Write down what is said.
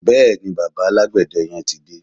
Bẹ́ẹ̀ni, bàbá alágbède yẹn ti dé.